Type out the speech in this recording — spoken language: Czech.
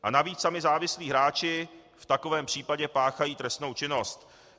A navíc sami závislí hráči v takovém případě páchají trestnou činnost.